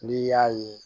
N'i y'a ye